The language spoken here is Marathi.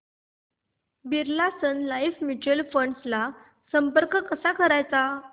Birla sun life mutual fund ला संपर्क कसा करायचा